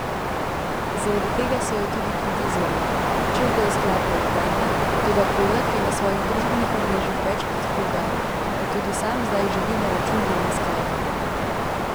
Zaradi tega so jo tudi kritizirali, češ da je skladbo ukradla, toda Kodak je na svojih družbenih omrežjih večkrat poudaril, da tudi sam zdaj živi na račun njene skladbe.